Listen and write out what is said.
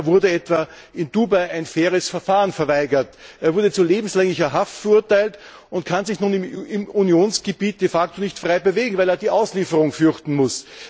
Adelsmayr etwa wurde in Dubai ein faires Verfahren verweigert, er wurde zu lebenslänglicher Haft verurteilt und kann sich nun im Unionsgebiet de facto nicht frei bewegen, weil er die Auslieferung fürchten muss.